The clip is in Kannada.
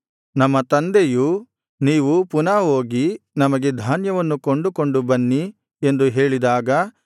ನಮ್ಮ ತಂದೆಯು ನೀವು ಪುನಃ ಹೋಗಿ ನಮಗೆ ಧಾನ್ಯವನ್ನು ಕೊಂಡು ಕೊಂಡು ಬನ್ನಿ ಎಂದು ಹೇಳಿದಾಗ